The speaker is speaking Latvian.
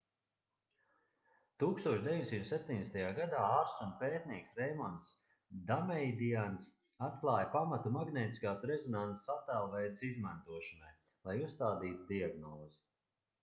1970. gadā ārsts un pētnieks reimonds dameidians atklāja pamatu magnētiskās rezonanses attēlveides izmantošanai lai uzstādītu diagnozi